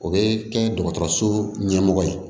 O bɛ kɛ dɔgɔtɔrɔso ɲɛmɔgɔ ye